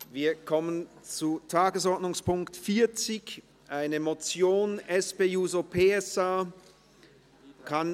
Wir kommen zu Tagesordnungspunkt 40, einer Motion der SP-JUSO-PSA-Fraktion.